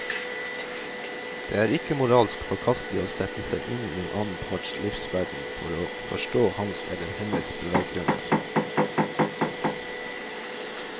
Det er ikke moralsk forkastelig å sette seg inn i den annen parts livsverden for å forstå hans eller hennes beveggrunner.